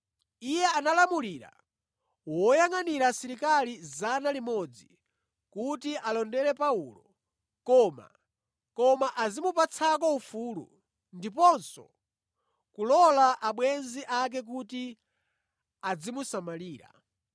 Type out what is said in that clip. Iye analamulira woyangʼanira asilikali 100 kuti alondere Paulo, koma azimupatsako ufulu ndiponso kulola abwenzi ake kuti adzimusamalira.